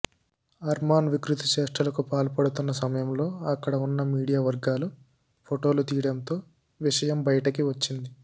అర్మాన్ వికృతి చేష్టలకు పాల్పడుతున్న సమయంలో అక్కడ ఉన్న మీడియా వర్గాలు ఫోటోలు తీయడంతో విషయం బయటకి వచ్చింది